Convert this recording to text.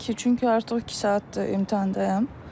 Təbii ki, çünki artıq iki saatdır imtahandayam.